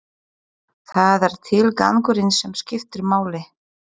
Það er tilgangurinn sem skiptir máli.